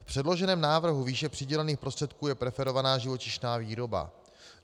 V předloženém návrhu výše přidělených prostředků je preferovaná živočišná výroba.